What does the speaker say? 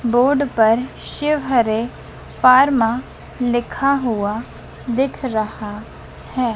Board पर Shiv Hare pharma लिखा हुआ दिख रहा है।